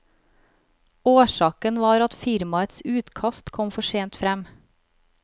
Årsaken var at firmaets utkast kom for sent frem.